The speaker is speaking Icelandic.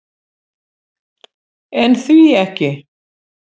En því ekki?